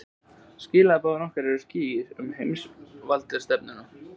Skilaboð okkar eru skýr um heimsvaldastefnuna